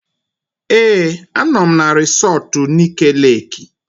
Ee, anọ m na resọtu Nike Leeki